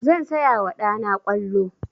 Zan saya wa ɗa na ƙwallo.